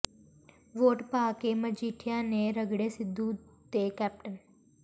vote ਪਾ ਕੇ ਮਜੀਠੀਆ ਨੇ ਰਗੜੇ ਸਿੱਧੂ ਤੇ ਕੈਪਟਨ